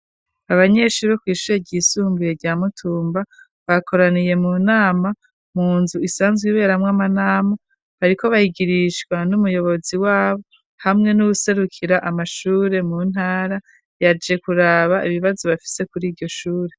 Abanyeshuri bo Kw ishure ryisumbuye rya Mutumba bakoraniye mu nama .Munzu isanzwe iberamwo amanama bariko bayigirishwa n'umuyobozi wabo hamwe n'uguserukira amashure mu ntara yaje kuraba ibibazo bafise kuri iryoshure.